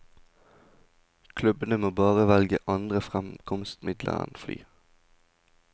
Klubbene må bare velge andre fremkomstmidler enn fly.